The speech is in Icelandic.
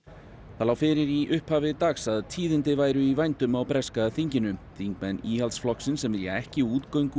það lá fyrir í upphafi dags að tíðindi væru í vændum á breska þinginu þingmenn íhaldsflokksins sem vilja ekki útgöngu